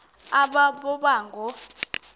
aba boba ngoo